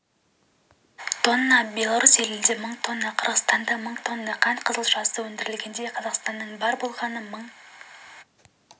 тонна беларусь елінде мың тонна қырғызстанда мың тонна қант қызылшасы өндірілгенде қазақстанда бар болғаны мың